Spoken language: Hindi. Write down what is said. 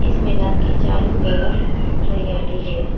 इस मैदान के चारों तरफ हरियाली है।